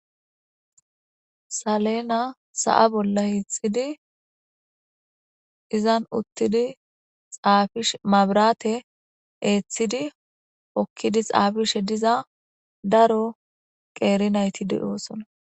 Salena sa'a bolla hiixxidi izan uttidi xaafish mabirate eeththidi okkidi xaafishe diza daro qeerinayti de'oosona.